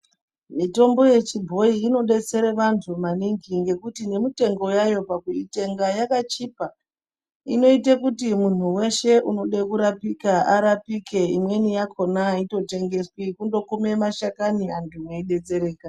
Mitombo yechibhoyi inodetsera vantu maningi ngekuti nemitengo yaYo pakuitenga yakachipa inoite kuti munhu weshe unode kurapika arapike imweni yakhona aitotengeswi kundokume mashakani antu mweidetserwka.